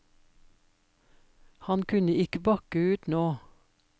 Han kunne ikke bakke ut nå.